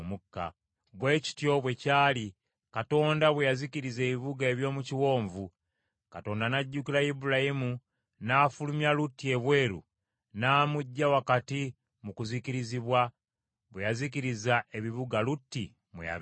Bwe kityo bwe kyali Katonda bwe yazikiriza ebibuga eby’omu kiwonvu. Katonda n’ajjukira Ibulayimu n’afulumya Lutti ebweru n’amuggya wakati mu kuzikirizibwa, bwe yazikiriza ebibuga Lutti mwe yabeeranga.